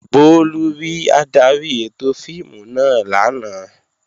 Bólú rí adarí ètò fíìmù náà lánàá